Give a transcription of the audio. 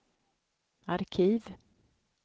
arkiv